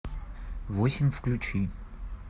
восемь включи